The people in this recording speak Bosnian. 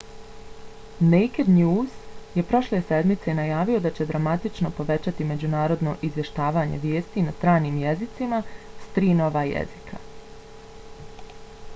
naked news je prošle sedmice najavio da će dramatično povećati međunarodno izvještavanje vijesti na stranim jezicima s tri nova jezika